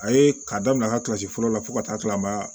A ye k'a daminɛ ka kilasi fɔlɔ la fo ka taa kila